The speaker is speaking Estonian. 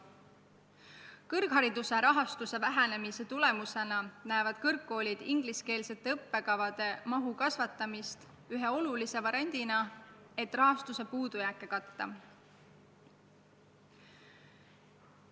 Kõrghariduse rahastuse vähenemise tagajärjel peavad kõrgkoolid ingliskeelsete õppekavade mahu kasvatamist üheks oluliseks abinõuks rahastuse puudujääkide katmisel.